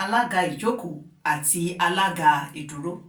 alága ìjókòó àti alága ìdúró